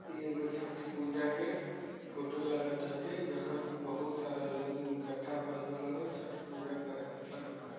ई एगो छठ पूजा के फोटो लागताते जहां के बहोत सारा लोग इकट्ठा भइल बाड़न लोग छठ पूजा करे ।